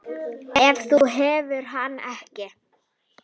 Ef þú hefðir hann ekki.